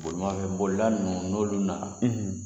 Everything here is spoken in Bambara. Bolimafɛnbolila ninnu n'olu nana